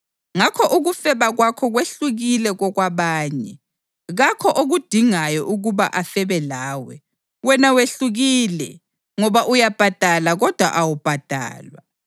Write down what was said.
Ngakho ukufeba kwakho kwehlukile kokwabanye; kakho okudingayo ukuba afebe lawe. Wena wehlukile, ngoba uyabhadala kodwa awubhadalwa.